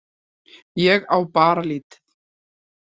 Ég á bara lítið.